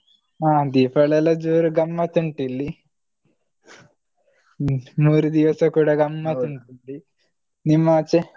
ಹ ದೀಪಾವಳಿ ಎಲ್ಲ ಜೋರ್ ಗಮ್ಮತುಂಟಿಲ್ಲಿ ಮೂರೂ ದಿವಸ ಕೂಡ ಗಮ್ಮತುಂಟಿಲ್ಲಿ ನಿಮ್ಮ ಆಚೆ?